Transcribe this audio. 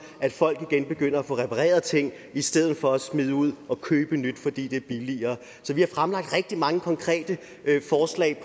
at folk igen begynder at få repareret ting i stedet for at smide ud og købe nyt fordi det er billigere så vi har fremlagt rigtig mange konkrete forslag